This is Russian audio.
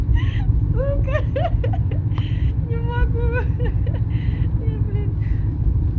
сука не могу я блядь